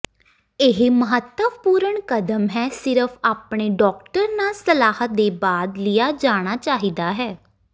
ਇਹ ਮਹੱਤਵਪੂਰਨ ਕਦਮ ਹੈ ਸਿਰਫ ਆਪਣੇ ਡਾਕਟਰ ਨਾਲ ਸਲਾਹ ਦੇ ਬਾਅਦ ਲਿਆ ਜਾਣਾ ਚਾਹੀਦਾ ਹੈ